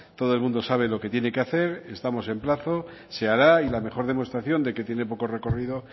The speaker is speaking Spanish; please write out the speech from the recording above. todo el mundo sabe lo que tiene que hacer estamos en plazo se hará y la mejor demostración de que tiene poco recorrido